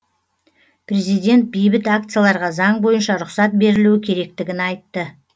президент бейбіт акцияларға заң бойынша рұқсат берілуі керектігін айтты